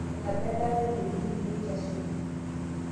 Enebaa endaa naitekini peyie eikesuni.